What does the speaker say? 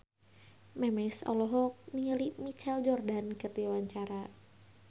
Memes olohok ningali Michael Jordan keur diwawancara